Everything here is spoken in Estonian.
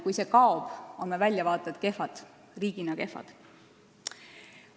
Kui see kaob, on meie väljavaated riigina kehvad.